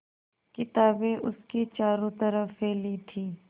किताबें उसके चारों तरफ़ फैली थीं